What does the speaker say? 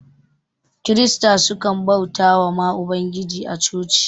kirista sukan bautawa ma ubangijin a chochi